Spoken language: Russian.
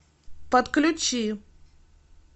подключи